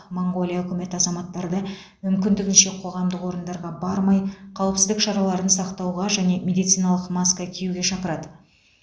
моңғолия үкіметі азаматтарды мүмкіндігінше қоғамдық орындарға бармай қауіпсіздік шараларын сақтауға және медициналық масқа киюге шақырады